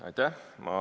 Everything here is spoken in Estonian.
Aitäh!